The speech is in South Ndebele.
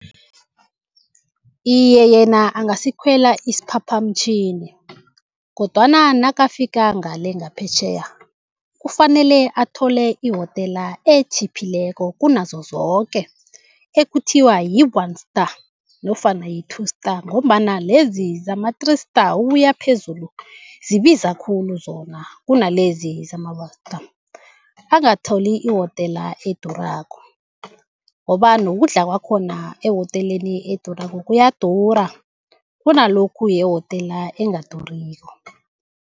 Iye, yena angasikhwela isiphaphamtjhini kodwana nakafika ngale ngaphetjheya kufanele athole iwotela etjhiphileko kunazo zoke, ekuthiwa yi-one start nofana yi-two star ngombana lezi zama-three star ukuya phezulu zibiza khulu zona kunalezi zama-one star. Angatholi iwotela edurako ngoba nokudla kwakhona ewoteleni edurako kuyadura kunalokhu yewotela engaduriko.